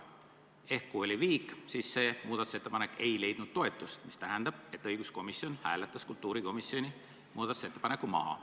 Teisisõnu, kui oli viik, siis muudatusettepanek ei leidnud toetust, mis tähendab, et õiguskomisjon hääletas kultuurikomisjoni muudatusettepaneku maha.